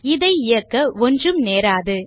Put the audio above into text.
இதை இயக்க ஒன்றும் நேராது